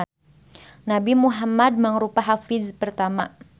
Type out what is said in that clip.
Nabi Muhammad mangrupa hafiz pertama.